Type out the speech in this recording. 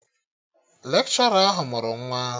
Lekshọra ahụ mụrụ nwa